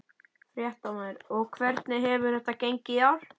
Fréttamaður: Og hvernig hefur þetta gengið í ár?